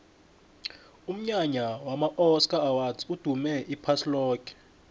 umnyanya wama oscar awards udume iphasi loke